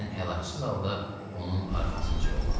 Mən əlacsız halda onun arxasınca yollandım.